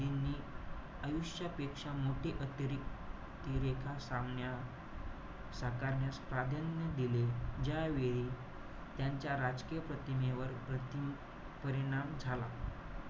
आयुष्यापेक्षा मोठे अतिरिक साकारण्यास दिले. ज्यावेळी, त्यांच्या राजकीय प्रतिमेवर प्रति~ परिणाम झाला.